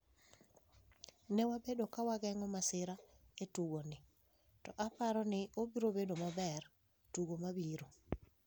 “Ne wabedo ka wageng’o masira e tugoni, to aparo ni obiro bedo maber e tugo mabiro.”